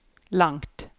langt